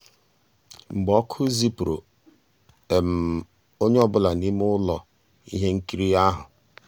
mkpú ọ́kụ́ zìpùrụ́ ónyé um ọ́ bụ́là n'ímé ụ́lọ́ íhé nkírí um ahụ́.